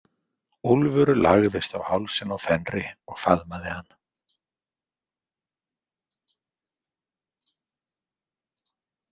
Úlfur lagðist á hálsinn á Fenri og faðmaði hann.